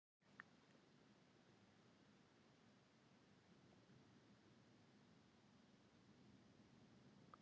Slíkt jók honum ásmegin.